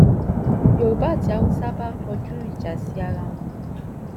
yorùbá àti haúsá bá kọjú ìjà sí ara wọn